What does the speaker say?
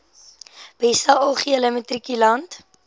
beste algehele matrikulant